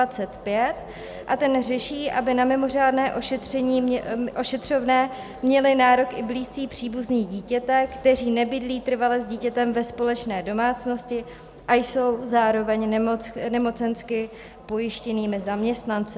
A ten řeší, aby na mimořádné ošetřovné měli nárok i blízcí příbuzní dítěte, kteří nebydlí trvale s dítětem ve společné domácnosti a jsou zároveň nemocensky pojištěnými zaměstnanci.